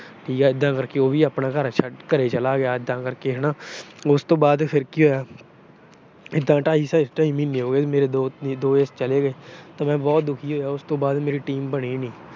ਠੀਕ ਆ ਉਹ ਵੀ ਐਦਾ ਕਰਕੇ ਆਪਣੇ ਘਰੇ ਚਲਾ ਗਿਆ ਮਤਲਬ ਕਿ। ਉਸ ਤੋਂ ਬਾਅਦ ਫਿਰ ਕੀ ਹੋਇਆ ਇਦਾਂ ਢਾਈ-ਢਾਈ ਮਹੀਨੇ ਹੋ ਗਏ, ਮੇਰੇ ਦੋਸਤ ਚਲੇ ਗਏ। ਤਾਂ ਮੈਂ ਬਹੁਤ ਦੁਖੀ ਹੋਇਆ। ਉਸ ਤੋਂ ਬਾਅਦ ਮੇਰੀ ਟੀਮ ਬਣੀ ਨੀ।